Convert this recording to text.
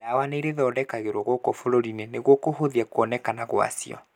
Dawa nĩirĩthondekagĩrwo gũkũ bũrũri-inĩ noguo kũhũthia kuoekana gwacio.